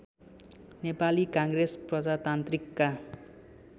Nepali Congress प्रजातान्त्रिकका